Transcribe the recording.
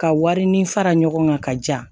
Ka wari ni fara ɲɔgɔn kan ka ja